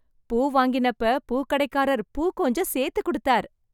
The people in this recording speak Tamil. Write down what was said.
பூ வாங்கினப்ப பூக்கடைக்காரர் பூ கொஞ்சம் சேர்ந்து கொடுத்தார்.